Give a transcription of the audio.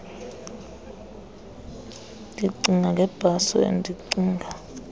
ndicinga ngebhaso endicinga